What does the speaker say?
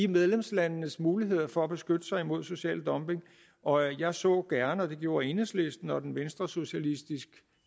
medlemslandenes muligheder for at beskytte sig imod social dumping og jeg så gerne og det gjorde enhedslisten og den venstresocialistiske